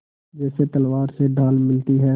जैसे तलवार से ढाल मिलती है